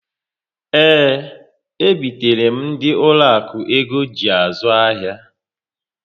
Ee, e bitere m ndị ụlọ akụ ego ji azụ ahịa